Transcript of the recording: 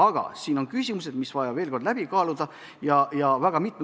Aga siin on küsimusi, mis on vaja mitme nurga alt veel kord läbi kaaluda.